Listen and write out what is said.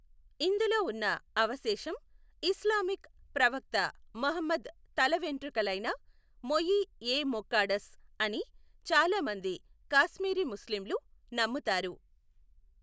ఇందులో ఉన్న అవశేషం ఇస్లామిక్ ప్రవక్త ముహమ్మద్ తల వెంట్రుకలైన మొయి ఏ ముక్కాడస్ అని చాలామంది కాశ్మీరీ ముస్లింలు నమ్ముతారు.